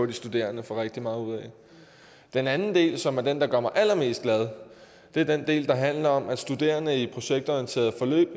de studerende får rigtig meget ud af den anden del som er den der gør mig allermest glad er den del der handler om at studerende i projektorienterede forløb